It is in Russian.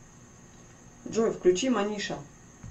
джой включи маниша